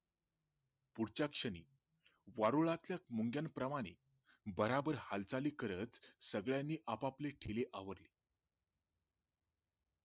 पुढच्या क्षणी वारुळातील मुंग्या प्रमाणे भराभर हालचाली करत सगळयानी आपापले ठेले आवरले